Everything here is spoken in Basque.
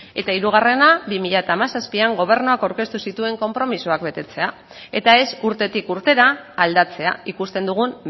eta hirugarrena bi mila hamazazpian gobernuak aurkeztu zituen konpromisoak betetzea eta ez urtetik urtera aldatzea ikusten dugun